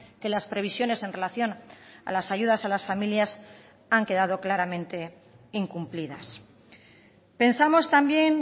que las previsiones en relación a las ayudas a las familias han quedado claramente incumplidas pensamos también